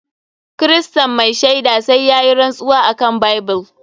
Kiristan mai shaida sai yayi rantsuwa akan bible.